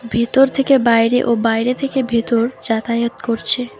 ভিতর থেকে বাইরে ও বাইরে থেকে ভিতর যাতায়াত করছে।